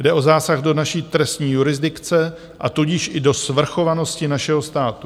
Jde o zásah do naší trestní jurisdikce, a tudíž i do svrchovanosti našeho státu.